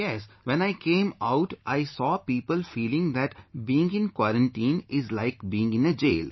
Yes, when I came out, I saw people feeling that being in quarantine is like being in a jail